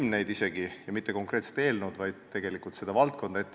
Ja tegelikult ei ole ette valmistatud mitte konkreetset eelnõu, vaid kogu seda valdkonda.